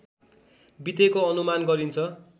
बितेको अनुमान गरिन्छ